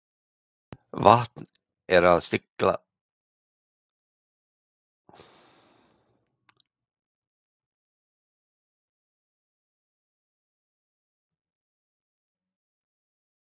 Vant er að sigla milli skers og báru.